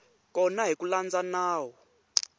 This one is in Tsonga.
kona hi ku landza nawu